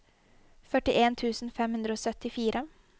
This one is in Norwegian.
førtien tusen fem hundre og syttifire